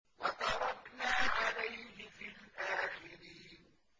وَتَرَكْنَا عَلَيْهِ فِي الْآخِرِينَ